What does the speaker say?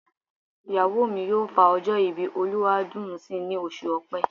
Ìyàwó mi yóò fa ọjọ́ ìbí Olúwadùnńsìn ní oṣù Ọ̀pẹ.